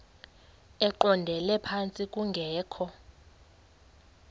eqondele phantsi kungekho